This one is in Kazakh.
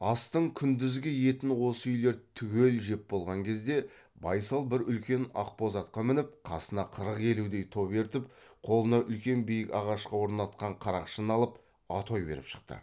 астың күндізгі етін осы үйлер түгел жеп болған кезде байсал бір үлкен ақбоз атқа мініп қасына қырық елудей топ ертіп қолыңа үлкен биік ағашқа орнатқан қарақшыны алып атой беріп шықты